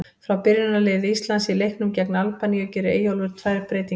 Frá byrjunarliði Íslands í leiknum gegn Albaníu gerir Eyjólfur tvær breytingar.